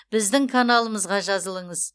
біздің каналымызға жазылыңыз